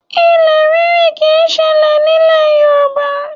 Ilẹ̀ ríri kì í ṣẹlẹ̀ nílẹ̀ Yorùbá